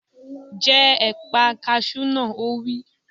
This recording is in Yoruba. Jẹ ẹ̀pà kasú náà! Ó wí.